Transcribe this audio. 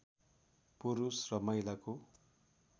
पुरुष र महिलाको